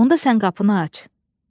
Onda sən qapını aç.